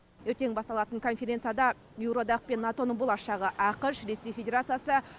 ертең басталатын конференцияда еуроодақ пен нато ның болашағы ақш ресей федерациясы